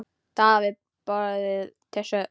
Daða var boðið til stofu.